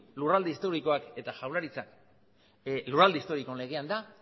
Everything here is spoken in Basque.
lurralde historikoak eta jaurlaritza lurralde historikoen legean da